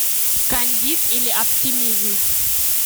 кандид или оптимизм